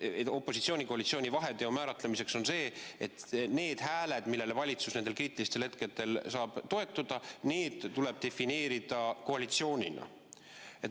Ja opositsiooni-koalitsiooni vaheteo määratlemiseks on see: need hääled, millele valitsus kriitilistel hetkedel saab toetuda, tuleb defineerida koalitsioonina.